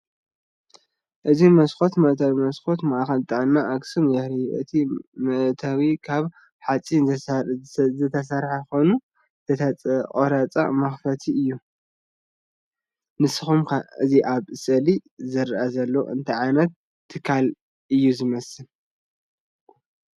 እዚ መስኮት መእተዊ መስኮት “ማእከል ጥዕና ኣክሱም” የርኢ። እቲ መእተዊ ካብ ሓጺን ዝተሰርሐ ኮይኑ ዝተቖርጸ መኽፈቲ እዩ። ንስኩም ከ እዚ ኣብ ስእሊ ዝርአ ዘሎ እንታይ ዓይነት ትካል እዩ ዝመስለኩም?